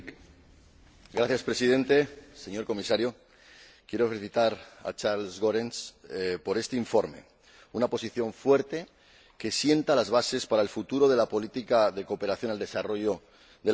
Señor Presidente, señor Comisario, quiero felicitar a Charles Goerens por este informe, una posición fuerte que sienta las bases para el futuro de la política de cooperación al desarrollo de la Unión.